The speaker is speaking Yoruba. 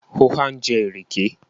ó ha ńjẹ ìrèké?